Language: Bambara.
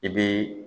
I bi